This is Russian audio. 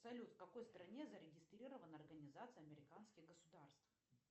салют в какой стране зарегистрирована организация американских государств